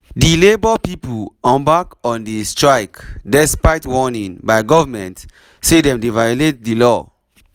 di labour pipo embark on di strike despite warning by goment say dem dey violate di law.